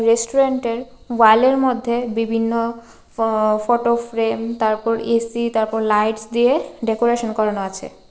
রেস্টুরেন্টের ওয়ালের মধ্যে বিভিন্ন ফ-ফটো ফ্রেম তারপর এ_সি তারপর লাইটস দিয়ে ডেকোরেশন করানো আছে .